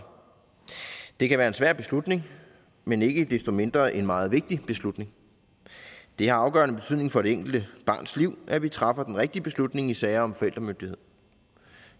det kan være en svær beslutning men ikke desto mindre en meget vigtig beslutning det har afgørende betydning for det enkelte barns liv at vi træffer den rigtige beslutning i sager om forældremyndighed